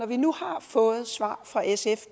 vi nu har fået svar fra sf